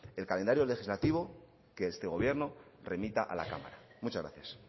el calendario legislativo que este gobierno remita a la cámara muchas gracias